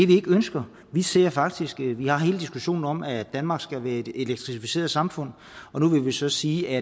vi ikke ønsker vi ser det faktisk i det vi har hele diskussionen om at danmark skal være et elektrificeret samfund og nu vil vi så sige at